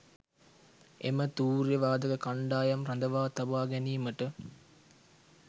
එම තූර්ය වාදක කණ්ඩායම් රඳවා තබා ගැනීමට